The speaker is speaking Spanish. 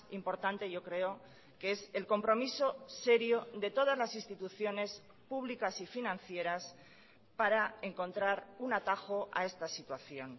importante yo creo que es el compromiso serio de todas las instituciones públicas y financieras para encontrar un atajo a esta situación